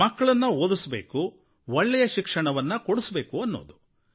ಮಕ್ಕಳನ್ನು ಓದಿಸಬೇಕು ಒಳ್ಳೆಯ ಶಿಕ್ಷಣವನ್ನು ಕೊಡಿಸಬೇಕು ಅನ್ನೋದು